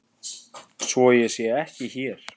Svo sé ekki hér.